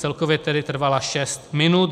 Celkově tedy trvala šest minut.